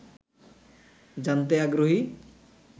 জানতে আগ্রহী